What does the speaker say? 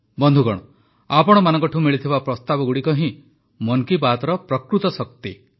ବନ୍ଧୁଗଣ ଆପଣମାନଙ୍କଠୁ ମିଳିଥିବା ପ୍ରସ୍ତାବଗୁଡ଼ିକ ହିଁ ମନ୍ କି ବାତ୍ର ପ୍ରକୃତ ଶକ୍ତି